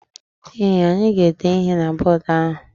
Ee, anyị ga-ede ihe na bọdụ ahụ.